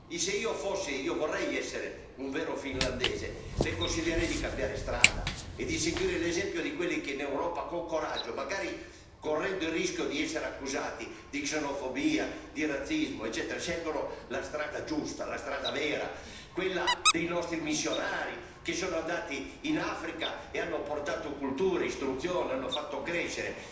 Se io fossi finlandese e io vorrei essere un vero finlandese le consiglierei di cambiare strada e di seguire l'esempio di quelli che in Europa, con coraggio, magari correndo il rischio di essere accusati di xenofobia, razzismo, eccetera, scelgono la strada giusta, la strada vera, quella dei nostri missionari, che sono andati in Africa e hanno portato cultura, istruzione e crescita.